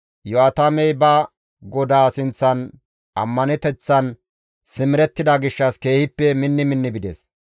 Iyo7aatamey ba GODAA sinththan ammaneteththan simerettida gishshas keehippe minni minni bides.